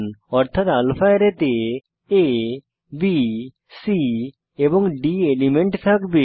অর্থাত আলফারে তে আ বি c এবং d এলিমেন্ট থাকবে